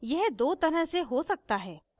यह दो तरह से हो सकता है